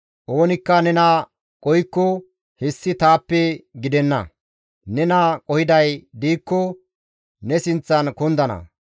Oonikka nena qohikko, hessi taappe gidenna; nena qohiday diikko ne sinththan kundana;